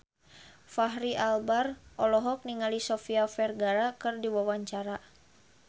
Fachri Albar olohok ningali Sofia Vergara keur diwawancara